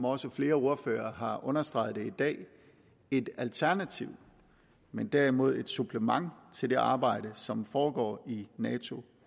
også flere ordførere har understreget i dag et alternativ men derimod et supplement til det arbejde som foregår i nato